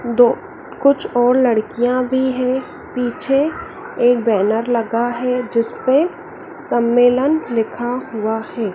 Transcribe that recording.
दो कुछ और लड़कियां भी हैं पीछे एक बैनर लगा हैं जिसपे सम्मेलन लिखा हुआ हैं।